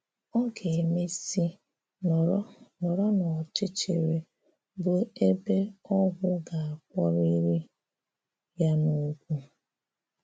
Ọ ga-emèsị̀ nọrọ nọrọ n’ọ̀chịchịrị, bụ́ ebè ọgwụ ga-akpọ̀rịrị ya n’ụ̀kwụ.